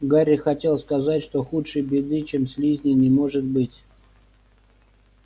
гарри хотел сказать что худшей беды чем слизни не может быть